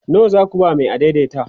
nawa zaku ba Mai adaidaita?